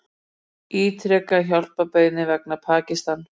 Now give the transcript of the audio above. Ítreka hjálparbeiðni vegna Pakistan